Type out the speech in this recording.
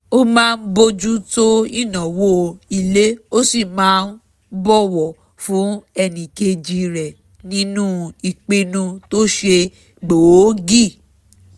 ó máa ń bójú tó ìnáwó ilé ó sì máa ń bọ̀wọ̀ fún ẹníkejí rẹ̀ nínú ìpinu tó ṣe gbòógì